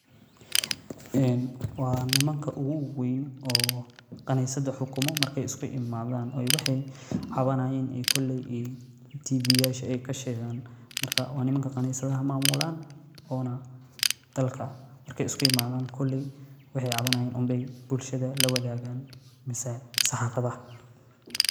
Ee waa nimanka ugu weyn ee qanisada xukumo marki ee isku imadhan ee wax cawanayin ee koley TV yasha ayey kashegan waa nimanka qanisadaha mamulan ona dalka marki ee isku imadhan koley waxyalahan un be bulshaada lawadhagan mase xafada.